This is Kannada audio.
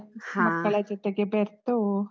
ಹಾ. ಮಕ್ಕಳ ಜೊತೆಗೆ ಬೆರ್ತು.